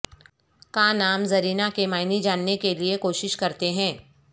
کا نام زرینہ کے معنی جاننے کے لئے کوشش کرتے ہیں